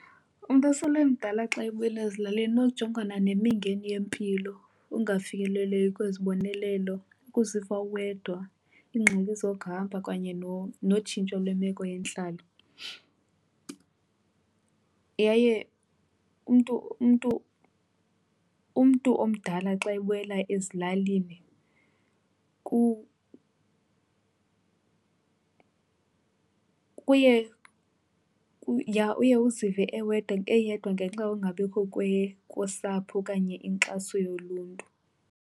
Umntu osele emdala xa ebuyela ezilalini unokujongana nemingeni yempilo, ukungafikeleleki kwezibonelelo, ukuziva uwedwa, iingxaki zokuhamba kanye notshintsho lemeko yentlalo. Yaye umntu, umntu, umntu omdala xa ebuyela ezilalini uye uzive eyedwa ngenxa yokungabikho kosapho okanye inkxaso yoluntu.